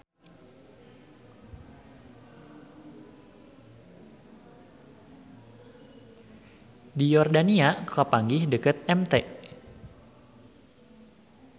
Di Yordania kapanggih dekat Mt.